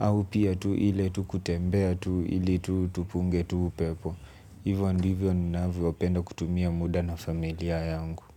au pia tu ile tu kutembea tu ili tu tupunge upepo. Hivyo ndivyo nunavyo penda kutumia muda na familia yangu.